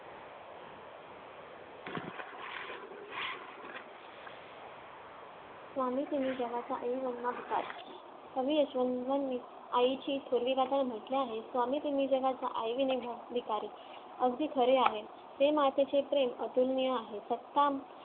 स्वामी तिणी जगाच्या आई विना भिकारी कवि यशवंत यांनी आईची थोरवी गाताना म्हंटले आहेत स्वामी तिणी जगाच्या आई विना भिकारी अगदी खरे आहे ते मातेचे प्रेम आतुरणीय आहे satkam